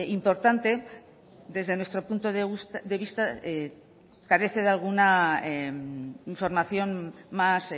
importante desde nuestro punto de vista carece de alguna información más